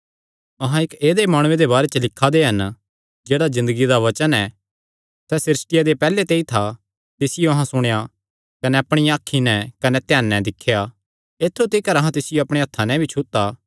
अहां इक्क ऐदेय माणुये दे बारे च लिखा दे हन जेह्ड़ा ज़िन्दगिया दा वचन ऐ सैह़ सृष्टिया दे पैहल्ले ते ई था तिसियो अहां सुणेया कने अपणियां अखीं नैं कने ध्याने दिख्या ऐत्थु तिकर अहां तिसियो अपणे हत्थां नैं भी छुता